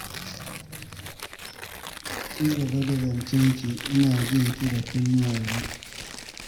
Ci gaba da zancen ki ina jin ki da kunnuwa biyu!